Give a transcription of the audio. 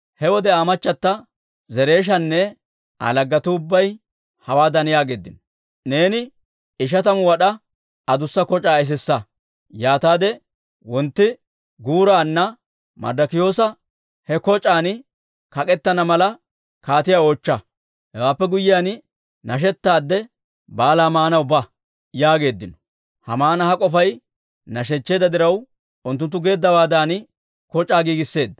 He wode Aa machchata Zereeshanne Aa laggetuu ubbay hawaadan yaageeddino; «Neeni ishatamu wad'aa adussa koc'aa esissa; yaataade wontti guuraanna Marddokiyoosi he koc'aan kak'k'etana mala, kaatiyaa oochcha. Hewaappe guyyiyaan, nashettaadde baalaa maanaw ba» yaageeddino. Haamana ha k'ofay nashechcheedda diraw, unttunttu geeddawaadan koc'aa giigisisseedda.